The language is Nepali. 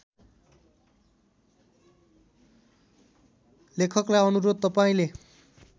लेखकलाई अनुरोध तपाईँले